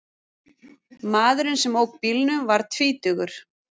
Maðurinn sem ók bílnum var tvítugur